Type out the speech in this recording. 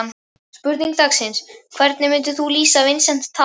Spurning dagsins: Hvernig myndir þú lýsa Vincent Tan?